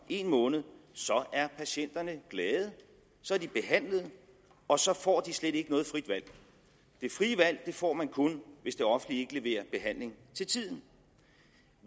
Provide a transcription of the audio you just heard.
en måned er patienterne glade så er de behandlet og så får de slet ikke noget frit valg det frie valg får man kun hvis det offentlige ikke leverer behandling til tiden